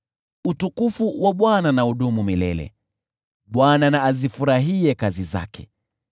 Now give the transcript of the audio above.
Utukufu wa Bwana na udumu milele, Bwana na azifurahie kazi zake: